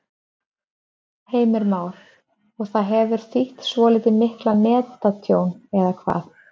Heimir Már: Og það hefur þýtt svolítið mikið netatjón, eða hvað?